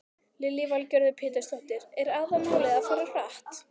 Lillý Valgerður Pétursdóttir: Er aðalmálið að fara hratt?